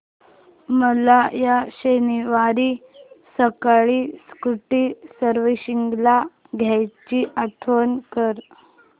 मला या शनिवारी सकाळी स्कूटी सर्व्हिसिंगला द्यायची आठवण कर